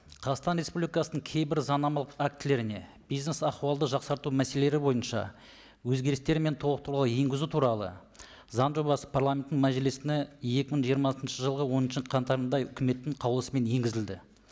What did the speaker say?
қазақстан республикасының кейбір заңнамалық актілеріне бизнес ахуалды жақсарту мәселелері бойынша өзгерістер мен толықтырулар енгізу туралы заң жобасы парламентінің мәжілісіне екі мың жиырма алтыншы жылғы оныншы қаңтарында үкіметтің қаулысымен енгізілді